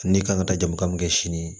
Ne kan ka taa jama min kɛ sini ye